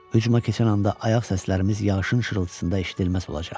Hücuma keçən anda ayaq səslərimiz yağışın şırıltısında eşidilməz olacaq.